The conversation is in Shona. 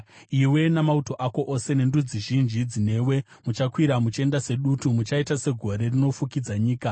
Iwe namauto ako ose nendudzi zhinji dzinewe muchakwira, muchienda sedutu; muchaita segore rinofukidza nyika.